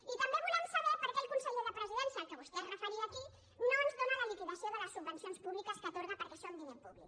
i també volem saber per què el conseller al qual vostè es referia aquí no ens dóna la liquidació de les subvencions públiques que atorga perquè són diner públic